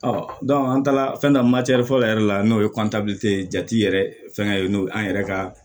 an taara fɛn dɔ fɔlɔ yɛrɛ la n'o ye ye jati yɛrɛ fɛngɛ ye n'o an yɛrɛ ka